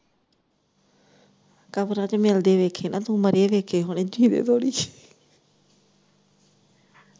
ਕਬਰਾਂ ਚ ਮਿਲਦੇ ਵੇਖੇ ਨਾ, ਮਰੇ ਵੇਖੇ ਹੋਣੇ ਜੀਵੇ ਥੋੜੀ।